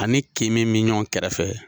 A ni kin min bi ɲɔgɔn kɛrɛfɛ.